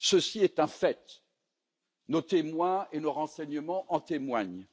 Ceci est un fait, nos témoins et nos renseignements en témoignent.